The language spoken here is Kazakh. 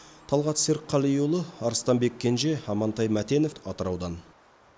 талғат серікқалиұлы арыстанбек кенже амантай мәтенов атыраудан